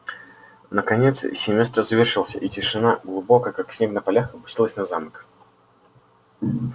наконец семестр завершился и тишина глубокая как снег на полях опустилась на замок